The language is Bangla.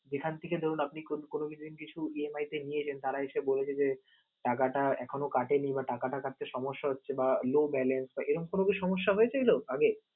যেখান থেকে ধরুন আপনি কোনো কিছুদিন কিছু EMI তে নিয়েছেন. তারা এসে বলল যে টাকাটা এখন কাটেনি বা টাকাটা কাটতে কোনো সমস্যা হচ্ছে বা no balance sir এরকম কি কোন সমস্যা হয়েছিল আগে?